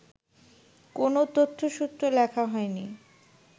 কোনো তথ্যসূত্র লেখা হয়নি